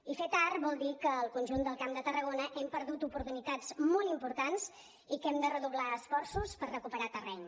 i fer tard vol dir que al conjunt del camp de tarragona hem perdut oportunitats molt importants i que hem de redoblar esforços per recuperar terreny